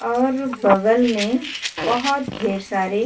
और बगल में बोहोत ढेर सारे --